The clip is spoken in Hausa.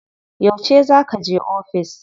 Yauce za kaje ofis?